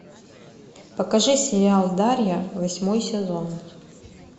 покажи сериал дарья восьмой сезон